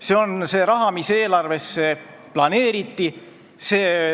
See on see raha, mis eelarvesse planeeriti.